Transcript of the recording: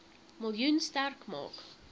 miljoen sterk maak